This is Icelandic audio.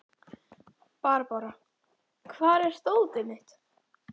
Barbára, hvar er dótið mitt?